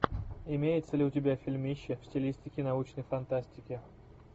имеется ли у тебя фильмище в стилистике научной фантастики